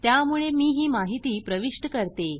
त्यामुळे मी ही माहिती प्रविष्ट करते